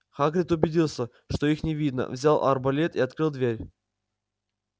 хагрид убедился что их не видно взял арбалет и открыл дверь